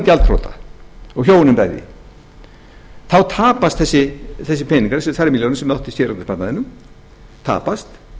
gjaldþrota og hjónin bæði þá tapar þessir peningar þessar tvær milljónir sem hann átti í séreignarsparnaðinum tapast